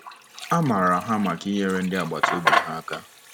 A maara ha maka inyere ndị agbata obi ha aka.